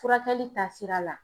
Furakɛli taasira la.